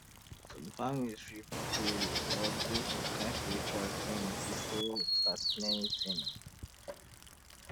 some families fit wan pray or do some kind spiritual thing um before anything start